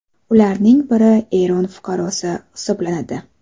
Ularning biri Eron fuqarosi hisoblanadi.